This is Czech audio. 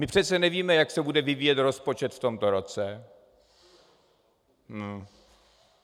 My přece nevíme, jak se bude vyvíjet rozpočet v tomto roce.